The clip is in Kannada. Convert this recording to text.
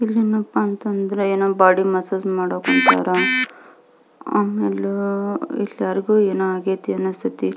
ಇಲ್ಲೆನಪ್ಪ ಅಂತಂದ್ರೆ ಏನೋ ಬಾಡಿ ಮಸಾಜ್ ಮಾಡೋಕ್ ಹೊಂಟಾರ ಆಮೇಲೆ ಇಲ್ಯಾರಿಗೋ ಏನೋ ಆಗೈತಿ ಅನಿಸ್ತಾಯಿತಿ.